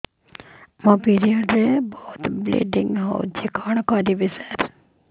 ମୋର ପିରିଅଡ଼ ରେ ବହୁତ ବ୍ଲିଡ଼ିଙ୍ଗ ହଉଚି କଣ କରିବୁ ସାର